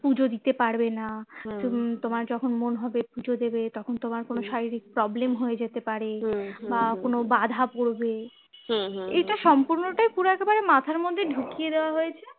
পুজো দিতে পারবে না হম তোমার যখন মন হবে পুজো দেবে তখন তোমার কোনো শারীরিক problem হয়ে যেতে পারে বা কোনো বাঁধা পড়বে এটা সম্পূর্ণটাই পুরো একেবারে মাথার মধ্যে ঢুকিয়ে দেওয়া হয়েছে